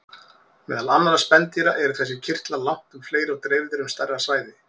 Meðal annarra spendýra eru þessir kirtlar langtum fleiri og dreifðir um stærra svæði.